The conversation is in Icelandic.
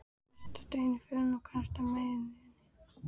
Sest á stein í fjörunni og kastar mæðinni.